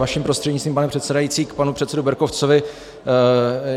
Vaším prostřednictvím pane předsedající k panu předsedovi Berkovcovi.